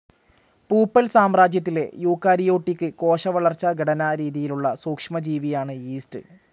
പൂപ്പൽ സാമ്രാജ്യത്തിലെ യൂക്കാരിയോട്ടിക്ക് കോശ വളർച്ചാ ഘടനാ രീതിയിലുള്ള സൂക്ഷ്മ ജീവിയാണ് യീസ്റ്റ്.